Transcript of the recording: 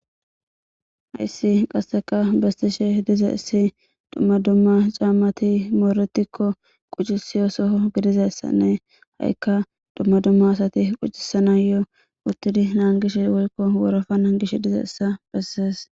hayssi qasseka bestishe dize issi dumma dumma caammati mooretikko quccisiyo soho gidizayssanne ha7ikka dumma dumma asati quccisanayo uttidi naangish wolko worofa nangish dizaysa bessees